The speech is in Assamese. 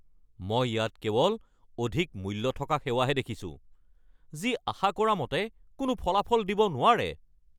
মই ইয়াত কেৱল অধিক মূল্য থকা সেৱাহে দেখিছো যি আশা কৰা মতে কোনো ফলাফল দিব নোৱাৰে।